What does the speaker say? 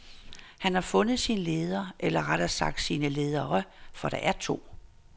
Han har fundet sin leder, eller rettere sagt sine ledere, for der er to.